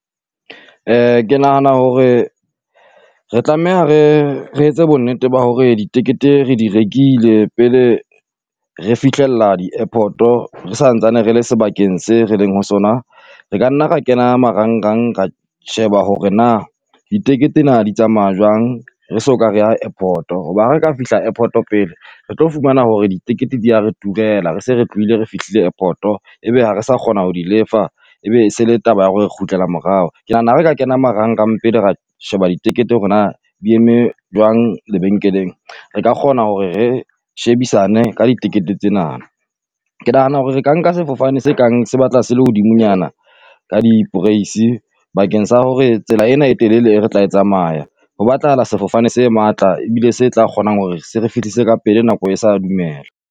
Ke nahana hore re tlameha re re etse bonnete ba hore ditekete re di rekile pele re fihlella di airport-o re santsane re le sebakeng se re leng ho sona. Re ka nna re kena marangrang ra sheba hore na ditekete na di tsamaya jwang re so ka re ya airport-o, hoba ha re ka fihla airport-o pele re tlo fumana hore ditekete di ya re turela re se re tlohile re fihlile airport-o. Ebe ha re sa kgona ho lefa, ebe se le taba ya hore re kgutlela morao, ke nahana ha re ka kena marangrang pele ra sheba ditekete hore na di eme jwang lebenkeleng. Re ka kgona hore re shebisane ka ditekete tsena, ke nahana hore re ka nka sefofane se kang se batla se le hodimonyana ka diporaise. Bakeng sa hore tsela ena e telele e re tla tsamaya, ho batlahala sefofane se matla ebile se tla kgonang hore se re fihlise ka pele nako e sa dumela.